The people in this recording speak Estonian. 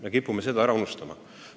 Me kipume seda ära unustama.